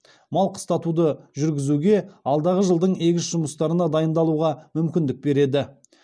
мал қыстатуды жүргізуге алдағы жылдың егіс жұмыстарына дайындалуға мүмкіндік береді